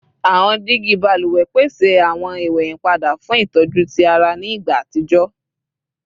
Awọn digi baluwẹ pese awọn iweyinpada fun itọju ti ara ẹni ni igba atijọ